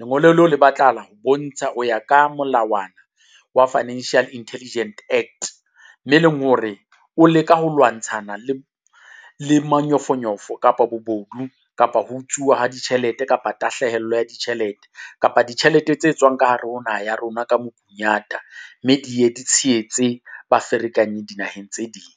Lengolo leo le batlahala ho bontsha ho ya ka molawana wa Financial Intelligent Act, me e leng hore o leka ho lwantshana le le manyofonyofo kapa bobodu kapa ho utsuwa ha ditjhelete kapa tahlehelo ya ditjhelete kapa ditjhelete tse tswang ka hare ho naha ya rona ka mokunyata, mme di ye di tshehetse ba ferekanyi dinaheng tse ding.